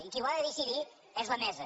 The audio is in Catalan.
i qui ho ha de decidir és la mesa